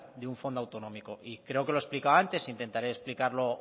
de un fondo autonómico y creo que lo he explicado antes e intentaré explicarlo